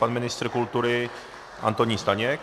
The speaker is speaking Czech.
Pan ministr kultury Antonín Staněk.